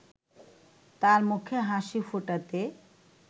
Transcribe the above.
তার মুখে হাসি ফোটাতে